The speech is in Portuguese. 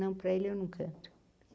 Não para ele, eu não canto.